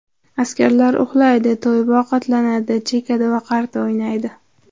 Askarlar uxlaydi, to‘yib ovqatlanadi, chekadi va qarta o‘ynaydi.